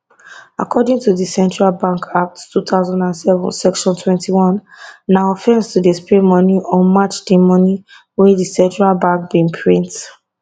according to di central bank act 2007 section 21 na offence to dey spray money or match di money wey di central bank bin print